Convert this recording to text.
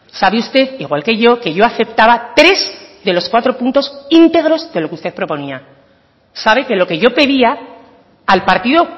sabe usted igual que yo que yo aceptaba tres de los cuatro puntos íntegros de lo que usted proponía sabe que lo que yo pedía al partido